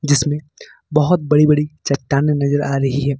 जिसमें बहुत बड़ी बड़ी चट्टाने नजर आ रही है।